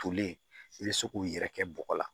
Tolen i bɛ se k'u yɛrɛ kɛ bɔgɔ la